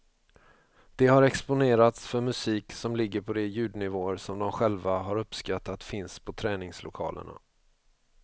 De har exponerats för musik som ligger på de ljudnivåer som de själva har uppskattat finns på träningslokalerna.